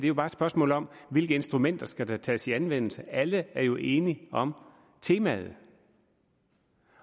er bare et spørgsmål om hvilke instrumenter der skal tages i anvendelse alle er jo enige om temaet